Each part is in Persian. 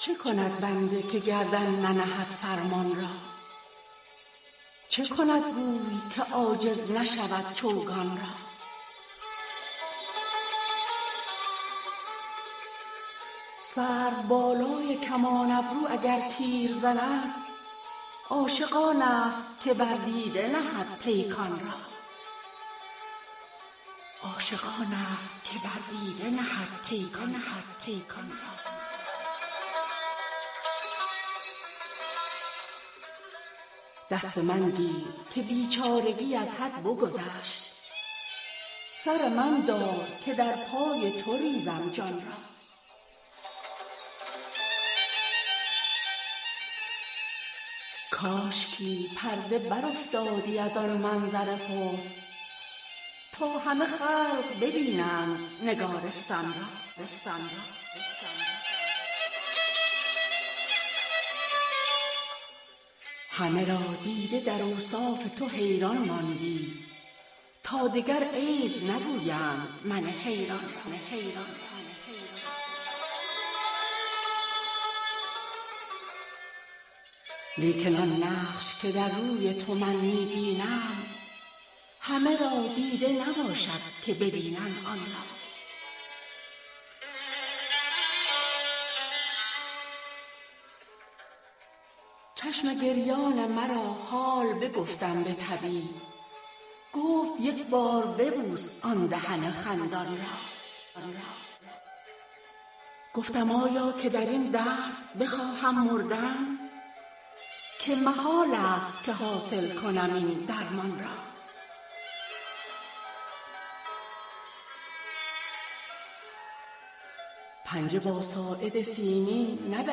چه کند بنده که گردن ننهد فرمان را چه کند گوی که عاجز نشود چوگان را سروبالای کمان ابرو اگر تیر زند عاشق آنست که بر دیده نهد پیکان را دست من گیر که بیچارگی از حد بگذشت سر من دار که در پای تو ریزم جان را کاشکی پرده برافتادی از آن منظر حسن تا همه خلق ببینند نگارستان را همه را دیده در اوصاف تو حیران ماندی تا دگر عیب نگویند من حیران را لیکن آن نقش که در روی تو من می بینم همه را دیده نباشد که ببینند آن را چشم گریان مرا حال بگفتم به طبیب گفت یک بار ببوس آن دهن خندان را گفتم آیا که در این درد بخواهم مردن که محالست که حاصل کنم این درمان را پنجه با ساعد سیمین نه به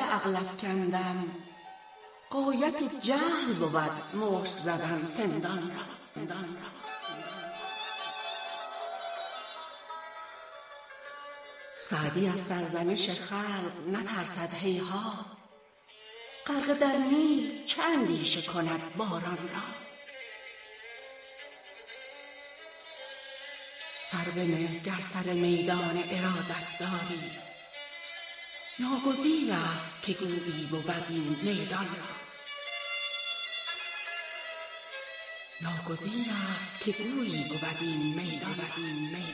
عقل افکندم غایت جهل بود مشت زدن سندان را سعدی از سرزنش خلق نترسد هیهات غرقه در نیل چه اندیشه کند باران را سر بنه گر سر میدان ارادت داری ناگزیرست که گویی بود این میدان را